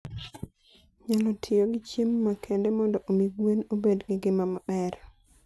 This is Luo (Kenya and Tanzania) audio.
nyalo tiyo gi chiemo makende mondo omi gwen obed gi ngima maber.